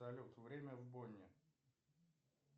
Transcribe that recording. салют время в бонне